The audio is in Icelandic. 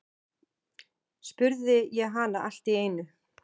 spurði ég hana allt í einu.